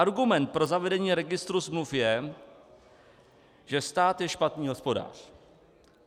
Argument pro zavedení registru smluv je, že stát je špatný hospodář.